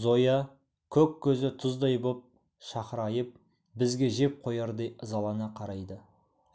зоя көк көзі тұздай боп шақырайып бізге жеп қоярдай ызалана қарайды